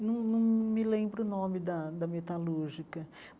Nâo nâo me lembro o nome da da metalúrgica.